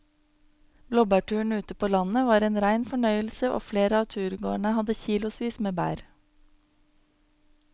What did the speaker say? Blåbærturen ute på landet var en rein fornøyelse og flere av turgåerene hadde kilosvis med bær.